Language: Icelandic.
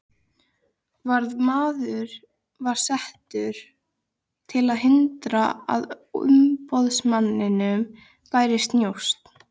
Varðmaður var settur til að hindra að umboðsmanninum bærist njósn.